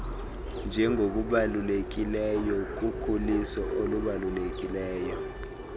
njengokubalulekileyo kukhuliso oluzayo